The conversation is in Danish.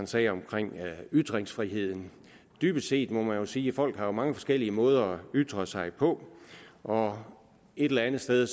sagde omkring ytringsfriheden dybest set må man jo sige at folk jo har mange forskellige måder at ytre sig på og et eller andet sted